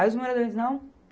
Aí os moradores, não?